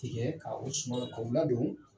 Tigɛ, ka o sumanw k'o ladon.